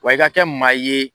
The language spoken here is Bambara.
Wa i ka kɛ maa ye.